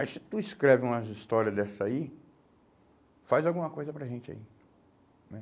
Aí se tu escreve umas história dessa aí, faz alguma coisa para a gente aí né?